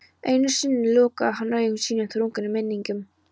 Enn einu sinni lokaði hún augum sínum þrungnum minningum.